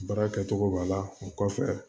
Baara kɛcogo b'a la o kɔfɛ